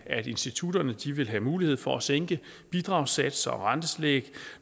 at institutterne vil have mulighed for at sænke bidragssatser og rentetillæg